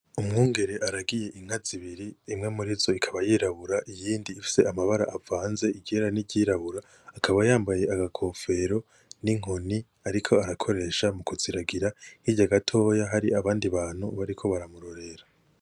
Umwungere aragiye inka zibiri imwe murizo ikaba yirabura iyindi ifise amabara avanze iryera n'iryirabura akaba yambaye agakofero n'inkoni ariko arakoresha mukuziragira hirya gatoya hari abandi bantu bariko baramurorera